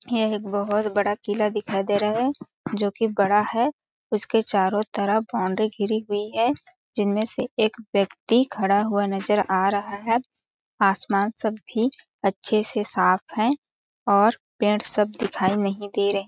यह एक बहुत बड़ा किला दिखाई दे रहा है जोकि बड़ा है उसके चारों तरफ बॉउंड्री घिरी हुई है जिनमें से एक व्यक्ति खड़ा हुआ नजर आ रहा है आसमान सब भी अच्छे से साफ है और पेड़ सब दिखाई नहीं दे रहे --